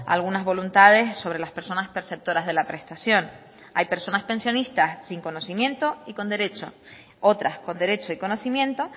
algunas voluntades sobre las personas perceptoras de la prestación hay personas pensionistas sin conocimiento y con derecho otras con derecho y conocimiento